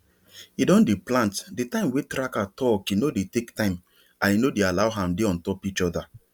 he don dey plant the time wey tracker talke no dey take time and e no dey allow am dey on top each other